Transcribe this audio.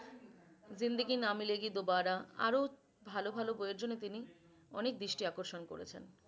जिंदगी ना मिलेगी दोबारा আরও ভাল ভাল বই এর জন্য তিনে অনেক দৃষ্টি আকর্ষণ করেছেন।